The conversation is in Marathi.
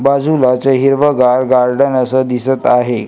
बाजूलाच हिरवगार गार्डन असं दिसत आहे.